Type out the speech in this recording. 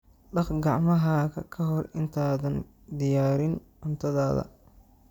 Dhaq gacmahaaga ka hor intaadan diyaarin cuntadaada.